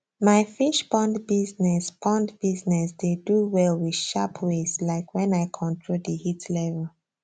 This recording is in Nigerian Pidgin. my fish pond business pond business dey do well with sharp ways like wen i control di heat level